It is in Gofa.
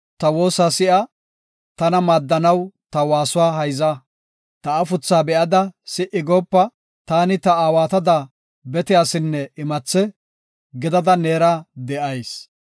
Godaw, ta woosa si7a; tana maaddanaw ta waasuwa hayza. Ta afuthaa be7ada si77i goopa; taani ta aawatada bete asinne imathe gidada neera de7ayis.